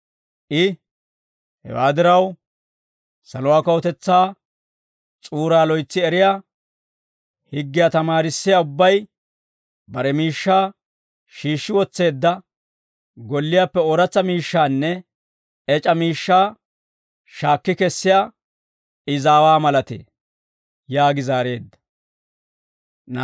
I, «Hewaa diraw, saluwaa kawutetsaa s'uuraa loytsi eriyaa, higgiyaa tamaarissiyaa ubbay, bare miishshaa shiishshi wotseedda golliyaappe ooratsa miishshaanne ec'a miishshaa shaakki kessiyaa izaawa malatee» yaagi zaareedda.